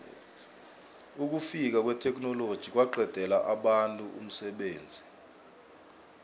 ukufika kwetheknoloji kwaqedela abantu umsebenzi